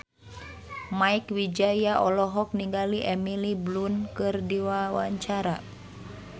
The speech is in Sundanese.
Mieke Wijaya olohok ningali Emily Blunt keur diwawancara